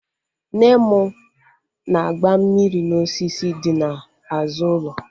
Nne mụ na-agba mmiri n'osisi dị n'azụ ụlọ